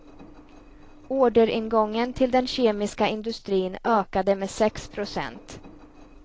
Orderingången till den kemiska industrin ökade med sex procent.